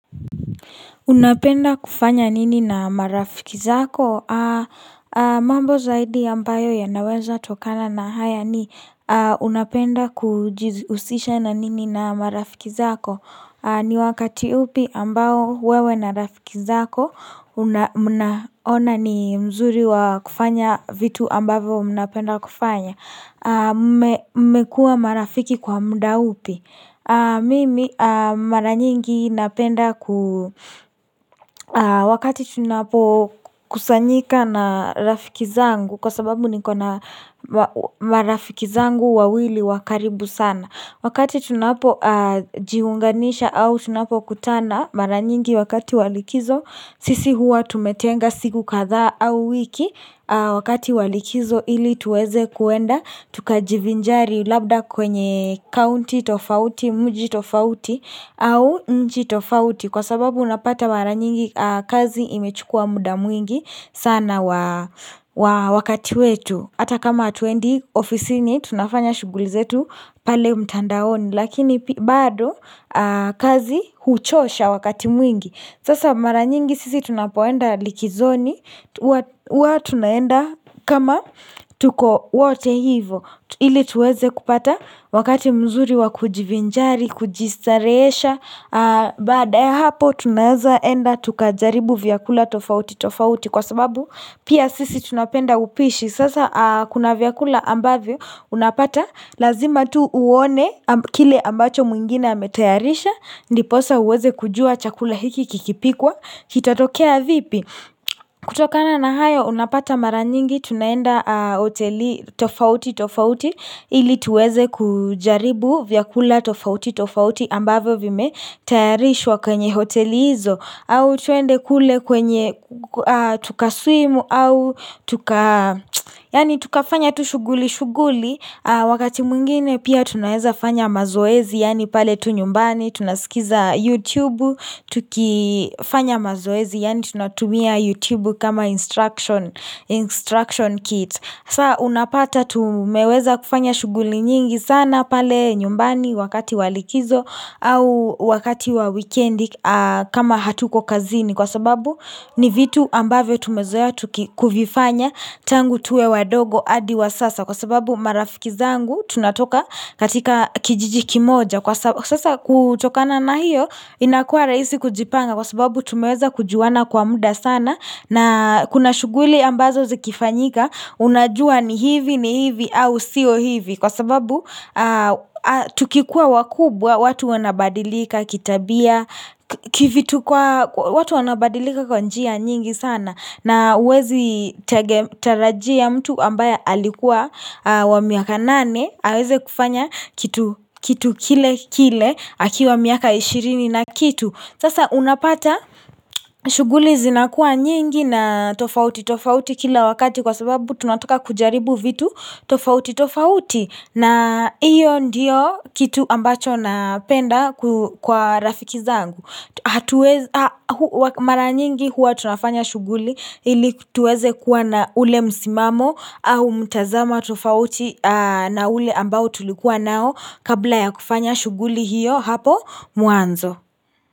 Unapenda kufanya nini na marafiki zako? Mambo zaidi ambayo yanawezatokana na haya ni unapenda kujihusisha na nini na marafiki zako. Ni wakati upi ambao wewe na marafiki zako, mnaona ni mzuri wa kufanya vitu ambavyo unapenda kufanya. Mmekua marafiki kwa muda upi. Mimi mara nyingi napenda wakati tunapokusanyika na rafiki zangu kwa sababu nikona marafiki zangu wawili wa karibu sana Wakati tunapojiunganisha au tunapokutana mara nyingi wakati wa likizo Sisi huwa tumetenga siku kadhaa au wiki wakati wa likizo ili tuweze kuenda Tukajivinjari labda kwenye county tofauti, mji tofauti au mji tofauti Kwa sababu unapata mara nyingi kazi imechukua muda mwingi sana wakati wetu Hata kama hatuendi ofisini tunafanya shughuli zetu pale mtandaoni Lakini bado kazi huchosha wakati mwingi Sasa mara nyingi sisi tunapoenda likizoni huwa tunaenda kama tuko wote hivo Ili tuweze kupata wakati mzuri wa kujivinjari, kujistarehesha Baada ya hapo tunaeza enda tukajaribu vyakula tofauti tofauti Kwa sababu pia sisi tunapenda upishi Sasa kuna vyakula ambavyo unapata Lazima tu uone kile ambacho mwingine ametayarisha Ndiposa uweze kujua chakula hiki kikipikwa Kitatokea vipi kutokana na haya unapata mara nyingi tunaenda hoteli tofauti tofauti ili tuweze kujaribu vyakula tofauti tofauti ambavyo vimetayarishwa kwenye hoteli hizo au tuende kule kwenye tukaswimu au yaani tukafanya tu shughuli shughuli Wakati mwingine pia tunaeza fanya mazoezi yaani pale tu nyumbani, tunasikiza YouTube, tukifanya mazoezi yaani tunatumia YouTube kama instruction kit saa unapata tumeweza kufanya shughuli nyingi sana pale nyumbani wakati wa likizo au wakati wa wikendi kama hatuko kazini Kwa sababu ni vitu ambavyo tumezoea kufifanya tangu tuwe wadogo hadi wa sasa Kwa sababu marafiki zangu tunatoka katika kijiji kimoja Kwa sababu sasa kutokana na hiyo inakua rahisi kujipanga Kwa sababu tumeweza kujuana kwa muda sana na kuna shughuli ambazo zikifanyika unajua ni hivi ni hivi au sio hivi Kwa sababu tukikua wakubwa watu wanabadilika kitabia Kivitu kwa watu wanabadilika kwa njia nyingi sana na huwezi tarajia mtu ambaye alikuwa wa miaka nane aweze kufanya kitu kile kile akiwa miaka ishirini na kitu Sasa unapata shughuli zinakuwa nyingi na tofauti tofauti kila wakati Kwa sababu tunataka kujaribu vitu tofauti tofauti na hiyo ndiyo kitu ambacho napenda kwa rafiki zangu. Mara nyingi huwa tunafanya shughuli ili tuweze kuwa na ule msimamo au mtazamo tofauti na ule ambao tulikuwa nao kabla ya kufanya shughuli hiyo hapo mwanzo.